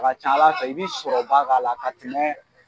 A ka ca Ala fɛ i bi sɔrɔba k'a la ka tɛmɛ